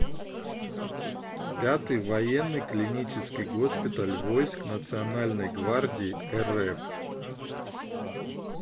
пятый военный клинический госпиталь войск национальной гвардии рф